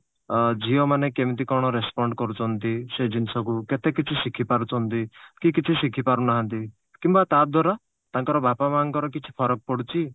ଅ ଝିଅ ମାନେ କେମିତି କଣ respond କରୁଛନ୍ତି ସେ ଜିନିଷକୁ କେତେ କିଛି ଶିଖିପାରୁଛନ୍ତି କି କିଛି ଶିଖିପାରୁନାହାନ୍ତି କିମ୍ବା ତା ଦ୍ଵାରା ତାଙ୍କର ବାପା ମାଆଙ୍କର କିଛି ଫରକ ପଡୁଛି